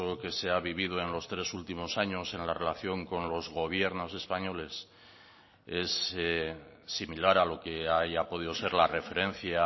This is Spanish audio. que se ha vivido en los tres últimos años en la relación con los gobiernos españoles es similar a lo que haya podido ser la referencia